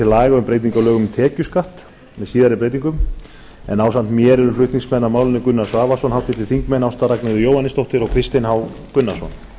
á lögum um tekjuskatt með síðari breytingum en ásamt mér eru flutningsmenn að málinu gunnar svavarsson háttvirtur þingmaður ásta ragnheiður jóhannesdóttir og kristinn h gunnarsson